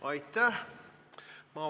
Aitäh!